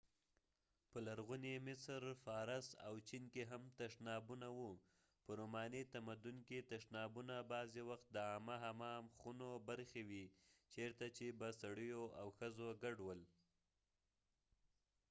په لرغوني مصر فارس او چین کې هم تشنابونه و په روماني تمدن کې تشنابونه بعضې وخت د عامه حمام خونو برخې وې چیرته چې به سړیو او ښځو ګډ ول